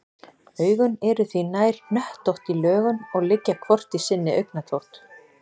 Augun eru því nær hnöttótt í lögun og liggja hvort í sinni augnatótt.